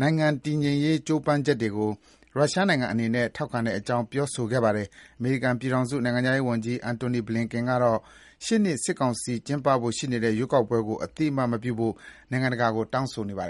နိုင်ငံတည်ငြိမ်ရေးကြိုးပမ်းချက်တွေကို ရုရှားနိုင်ငံအနေနဲ့ ထောက်ခံတဲ့အကြောင်း ပြောဆိုခဲ့ပါတယ်။ အမေရိကန်ပြည်ထောင်စု နိုင်ငံခြားရေးဝန်ကြီး Antony Blinen ကတော့ ရှေ့နှစ် စစ်ကောင်စီ ကျင်းပဖို့ စီစဉ်နေတဲ့ ရွေးကောက်ပွဲကို အသိအမှတ်မပြုဖို့ နိုင်ငံတကာကို တောင်းဆိုနေပါတယ်